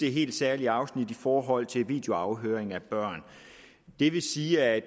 det helt særlige afsnit i forhold til videoafhøring af børn det vil sige at